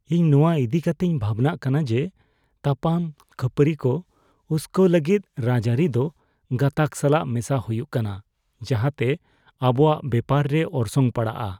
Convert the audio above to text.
ᱤᱧ ᱱᱚᱣᱟ ᱤᱫᱤ ᱠᱟᱛᱮᱧ ᱵᱷᱟᱵᱽᱱᱟᱜ ᱠᱟᱱᱟ ᱡᱮ ᱛᱟᱯᱟᱱ ᱠᱷᱟᱹᱯᱟᱹᱨᱤ ᱠᱚ ᱩᱥᱠᱟᱹᱣ ᱞᱟᱹᱜᱤᱫ ᱨᱟᱡᱽᱟᱹᱨᱤ ᱫᱚ ᱜᱟᱛᱟᱜ ᱥᱟᱞᱟᱜ ᱢᱮᱥᱟ ᱦᱩᱭᱩᱜ ᱠᱟᱱᱟ, ᱡᱟᱦᱟᱸᱛᱮ ᱟᱵᱚᱣᱟᱜ ᱵᱮᱯᱟᱨ ᱨᱮ ᱚᱨᱥᱚᱝ ᱯᱟᱲᱟᱜᱼᱟ ᱾